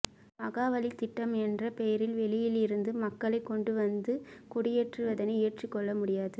மகாவலி திட்டம் என்ற பெயரில் வெளியில் இருந்து மக்களை கொண்டுவந்து குடியேற்றுவதனை ஏற்றுக்கொள்ள முடியாது